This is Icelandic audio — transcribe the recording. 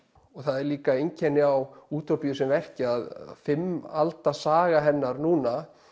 það er líka einkenni á útópíu sem verki að fimm alda saga hennar núna